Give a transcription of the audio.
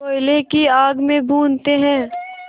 कोयले की आग में भूनते हैं